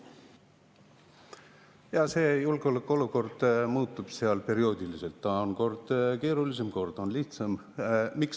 Jaa, julgeolekuolukord muutub seal perioodiliselt, see on kord keerulisem, kord on lihtsam.